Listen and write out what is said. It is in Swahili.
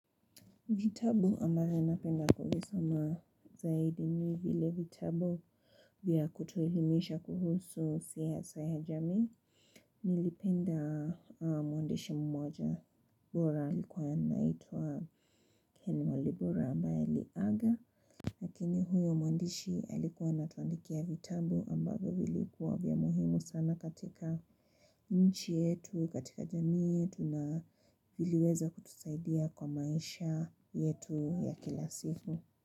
Vitabu ambavyo napenda kuvisoma zaidi ni vile vitabu vya kutuelimisha kuhusu siasa ya jamii nilipenda muandishi mmoja bora alikuwa naituwa Ken Walibora ambaye aliaga. Lakini huyo muandishi halikuwa anatuandikia vitabu ambavyo vilikuwa vya muhimu sana katika nchi yetu katika jamii yetu na viliweza kutusaidia kwa maisha yetu ya kila siku.